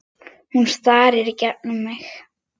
Hún starir í gegnum mig.